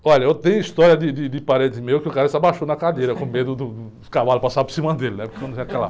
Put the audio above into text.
Olha, eu tenho história de, de, de parente meu que o cara se abaixou na cadeira com medo do, do, dos cavalo passar por cima dele, né? Quando vem aquela...